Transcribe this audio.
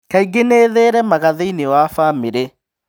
Kaingĩ nĩ ĩtheremaga thĩinĩ wa bamirĩ.